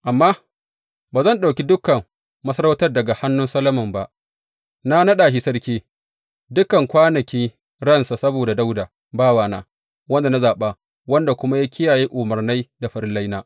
Amma ba zan ɗauki dukan masarautar daga hannun Solomon ba; na naɗa shi sarki, dukan kwanaki ransa saboda Dawuda bawana, wanda na zaɓa, wanda kuma ya kiyaye umarnai da farillaina.